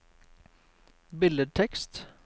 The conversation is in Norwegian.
billedtekst